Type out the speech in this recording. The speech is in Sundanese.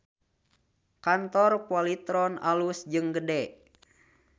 Kantor Polytron alus jeung gede